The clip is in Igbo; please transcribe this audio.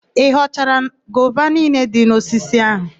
Ị ghọchara gova niile dị n'osisi áhụ̀?